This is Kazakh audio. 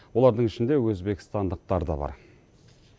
олардың ішінде өзбекстандықтар да бар